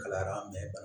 Kalayara